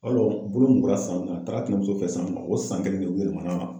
Yarɔ bolo mugula san min na a taara a tɛnɛmuso feyi san min o san kelen de u .